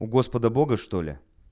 у господа бога что ли